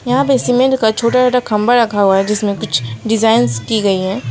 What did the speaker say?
यहां पे सीमेंटे का छोटा छोटा खंबा रखा हुआ है जिसमें कुछ डिजाइंस की गई हैं।